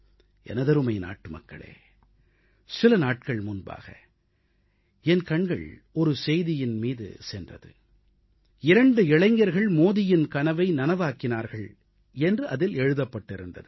எனதருமை நாட்டுமக்களே சில நாட்கள் முன்பாக என் கண்கள் ஒரு செய்தியின் மீது சென்றது இரண்டு இளைஞர்கள் மோடியின் கனவை நனவாக்கினார்கள் என்று அதில் எழுதப்பட்டிருந்தது